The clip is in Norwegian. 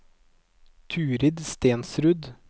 Turid Stensrud